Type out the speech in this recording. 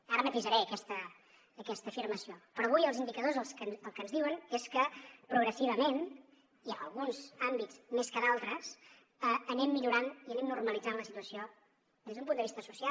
ara matisaré aquesta afirmació però avui els indicadors el que ens diuen és que progressivament i en alguns àmbits més que en d’altres anem millorant i anem normalitzant la situació des d’un punt de vista social